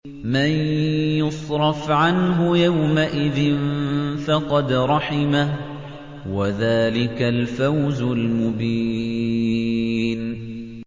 مَّن يُصْرَفْ عَنْهُ يَوْمَئِذٍ فَقَدْ رَحِمَهُ ۚ وَذَٰلِكَ الْفَوْزُ الْمُبِينُ